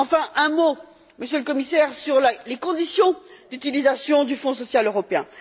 Enfin, un mot, Monsieur le Commissaire, sur les conditions d'utilisation du Fonds social européen.